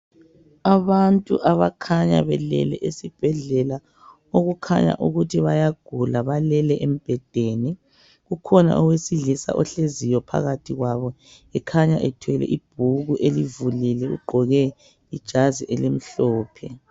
Abantu abakhanya belele esibhedlela okukhanya ukuthi bayagula balele embhedeni. Ukhona owesilisa ohleziyo phakathi kwabo ekhanya ethwele ibhuku elivulile. Ugqoke ijazi elimhlophe.